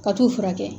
Ka t'u furakɛ